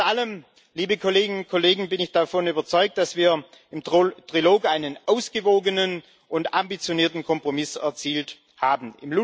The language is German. Trotz allem, liebe Kolleginnen und Kollegen, bin ich davon überzeugt, dass wir im Trilog einen ausgewogenen und ambitionierten Kompromiss erzielt haben.